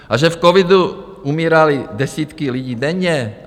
A že v covidu umíraly desítky lidí denně?